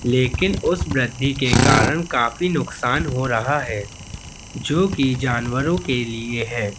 लेकिन उस वृद्धि के कारण काफी नुकसान हो रहा है जो कि जानवरों के लिए है।